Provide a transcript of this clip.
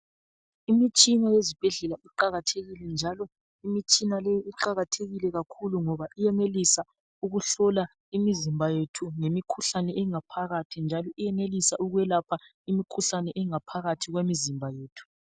Imitshina yezibhendlela iqakathekile njalo imitshina le iqakathekile kakhulu ngoba iyenelisa ukuhlola imizimba yethu lemikhuhlane engaphakathi njalo iyenelisa ukwelapha imikhuhlane engaphakathi kwemizimba yethu.